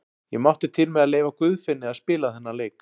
Ég mátti til með að leyfa Guðfinni að spila þennan leik.